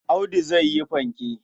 Audu zai yi fanke.